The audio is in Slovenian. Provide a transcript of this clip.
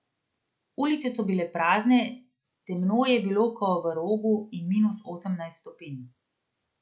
Ulice so bile prazne, temno je bilo ko v rogu in minus osemnajst stopinj.